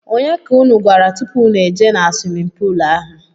ọnye ka ụnụ gwara tụpụ ụnụ ejee na swimin poolu ahụ?